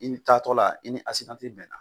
I ni taatɔ la, i ni bɛnna.